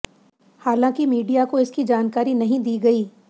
हालांकि मीडिया को इसकी जानकारी नहीं दी गई